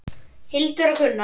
Hildur og Gunnar.